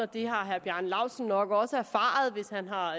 det har herre bjarne laustsen nok også erfaret hvis han har